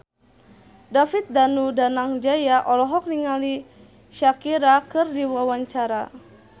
David Danu Danangjaya olohok ningali Shakira keur diwawancara